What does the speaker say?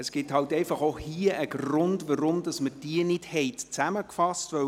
Es gibt halt auch hier einen Grund, weshalb wir diese Absätze nicht zusammengefasst haben.